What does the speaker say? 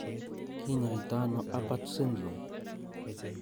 Kinyoito ano Apert syndrome?